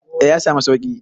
A yasamu sauƙi